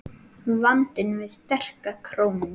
Vandinn við sterka krónu